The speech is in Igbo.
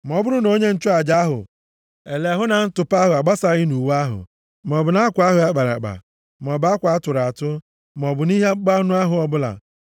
“Ma ọ bụrụ na onye nchụaja ahụ ele hụ na ntụpọ ahụ agbasaghị nʼuwe ahụ, maọbụ nʼakwa ahụ a kpara akpa, maọbụ akwa a tụrụ atụ, maọbụ nʼihe akpụkpọ anụ ahụ ọbụla.